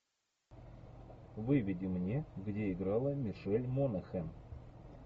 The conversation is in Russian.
выведи мне где играла мишель монахэн